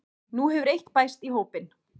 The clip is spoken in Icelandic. Nú hefur eitt bæst í hópinn